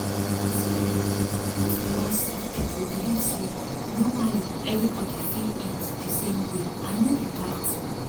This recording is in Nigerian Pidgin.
you see eh not be all sick people believe say normally everybody fit eat di same way and no be bad tin.